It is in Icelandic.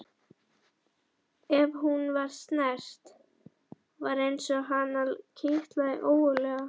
Ef hún var snert var eins og hana kitlaði ógurlega.